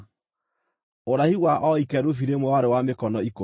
Ũraihu wa o ikerubi rĩmwe warĩ wa mĩkono ikũmi.